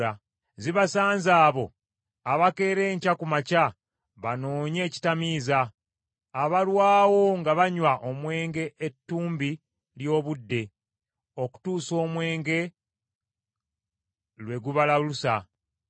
Zibasanze abo abakeera enkya ku makya banoonye ekitamiiza, abalwawo nga banywa omwenge ettumbi ly’obudde, okutuusa omwenge lwe gubalalusa!